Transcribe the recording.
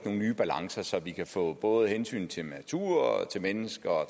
nogle nye balancer så vi kan få både hensynet til natur og til mennesker og